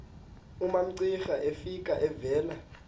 umamcira efika evela